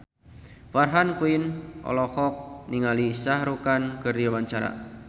Farah Quinn olohok ningali Shah Rukh Khan keur diwawancara